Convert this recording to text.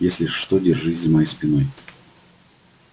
если что держись за моей спиной